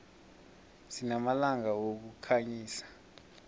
sinamalampa wokukhanyisa